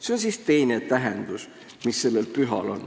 " See on teine tähendus, mis sellel pühal on.